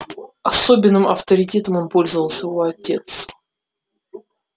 особенным авторитетом он пользовался у овец